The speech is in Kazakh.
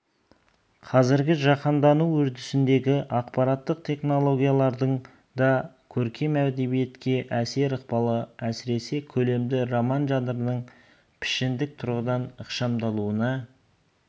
қазіргі жаһандану үрдісіндегі ақпараттық технологиялардың да көркем әдебиетке әсер-ықпалы әсіресе көлемді роман жанрының пішіндік тұрғыдан ықшамдалуына